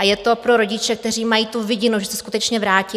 A je to pro rodiče, kteří mají tu vidinu, že se skutečně vrátí.